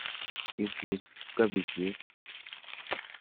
Isus kabijek.